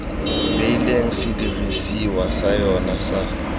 beileng sedirisiwa sa yona sa